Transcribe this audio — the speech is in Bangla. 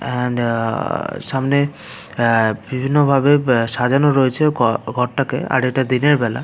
এন্ড অ-অ সামনে অ্যা বিভিন্ন ভাবে অ্যা সাজানো রয়েছে ঘর-ঘরটাকে এইটা দিনের বেলা।